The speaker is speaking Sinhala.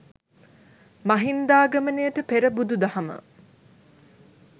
මහින්දාගමනයට පෙර බුදු දහම